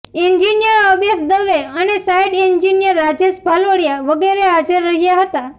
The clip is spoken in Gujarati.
એન્જિનિયર અંબેશ દવે અને સાઈટ એન્જીનીયર રાજેશ ભાલોડીયા વગેરે હાજર રહયા હતાં